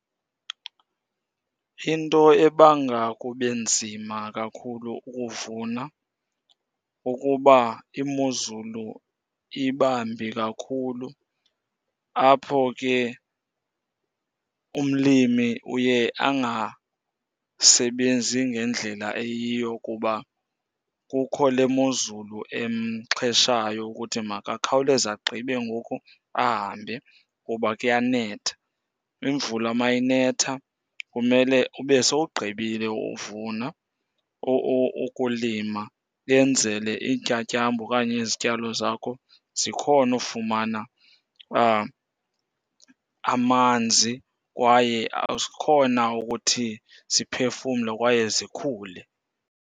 Into ebanga kube nzima kakhulu ukuvuna kukuba imozulu ibambi kakhulu, apho ke umlimi uye angasebenzi ngendlela eyiyo kuba kukho le mozulu emxheshayo ukuthi makakhawuleze agqibe ngoku ahambe kuba kuyanetha. Imvula mayinetha kumele ube sowugqibile uvuna, ukulima, yenzele iintyatyambo okanye izityalo zakho zikhone ufumana amanzi kwaye zikhone ukuthi ziphefumle kwaye zikhule.